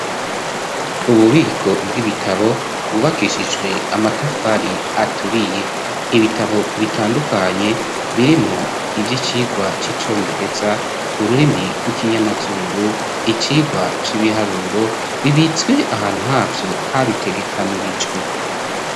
Ububiko bw'ibitabo bwubakishijwe amatafari aturiye. Ibitabo bitandukanye birimwo ivy'icigwa c'icongereza ,ururimi rw'ikinyamazuru ,icigwa c'ibiharuro ,bibitswe ahantu havyo habitegekanirijwe.